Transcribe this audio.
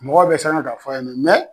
Mɔgɔw bɛɛ siran na k'a fɔ a ye mɛ mɛ